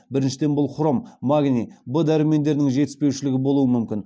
біріншіден бұл хром магний в дәрумендерінің жетіспеушілігі болуы мүмкін